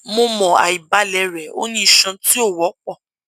mo mọ aibalẹ rẹ o ni iṣan ti o wọpọ